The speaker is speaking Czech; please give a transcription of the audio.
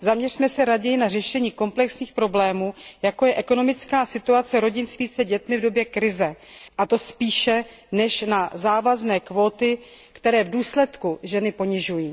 Zaměřme se raději na řešení komplexních problémů, jako je ekonomická situace rodin s více dětmi v době krize, a to spíše než na závazné kvóty, které v důsledky ženy ponižují.